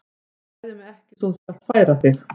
Þú hræðir mig ekki svo þú skalt færa þig.